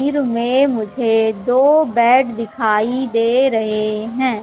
तस्वीर में मुझे दो बेड दिखाई दे रहे हैं।